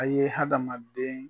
A ye hadamaden